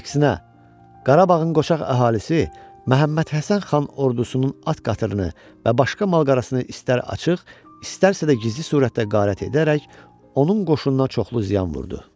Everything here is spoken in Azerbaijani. Əksinə, Qarabağın qoçaq əhalisi Məhəmmədhəsən xan ordusunun at qatırını və başqa mal-qarasını istər açıq, istərsə də gizli surətdə qarət edərək onun qoşununa çoxlu ziyan vurdu.